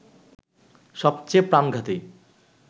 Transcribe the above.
সবচেয়ে প্রাণঘাতী